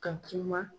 Ka kuma